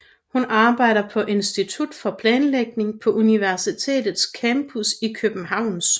Hun arbejder på Institut for Planlægning på universitetets campus i Københavns